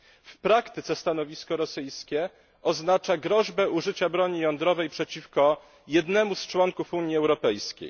W praktyce stanowisko rosyjskie oznacza groźbę użycia broni jądrowej przeciwko jednemu z członków Unii Europejskiej.